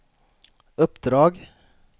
uppdrag